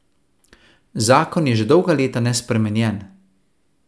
Zakon je že dolga leta nespremenjen.